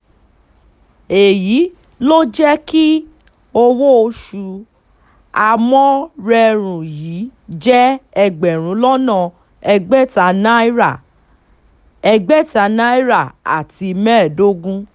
èyí ló jẹ́ kí owó oṣù amórèrọrùn yìí jẹ́ ẹgbẹ̀rún lọ́nà ẹgbẹ̀ta náírà ẹgbẹ̀ta náírà àti mẹ́ẹ̀ẹ́dógún